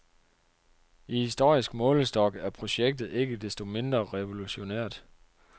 I historisk målestok er projektet ikke desto mindre revolutionært.